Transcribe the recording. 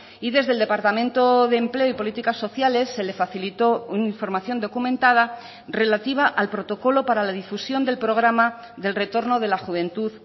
y desde el departamento de empleo y políticas sociales se le facilitó una información documentada relativa al protocolo para la difusión del programa del retorno de la juventud